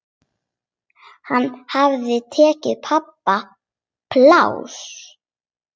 Hann hafði tekið pabba pláss.